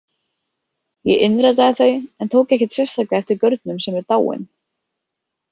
Ég innritaði þau en tók ekkert sérstaklega eftir gaurnum sem er dáinn.